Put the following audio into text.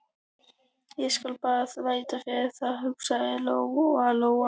Ég skal bara þræta fyrir það, hugsaði Lóa-Lóa.